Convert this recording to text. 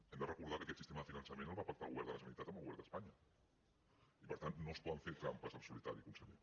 hem de recordar que aquest sistema de finançament el va pactar el govern de la generalitat amb el govern d’espanya i per tant no es poden fer trampes al solitari conseller